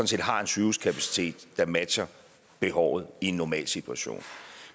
set har en sygehuskapacitet der er matcher behovet i en normal situation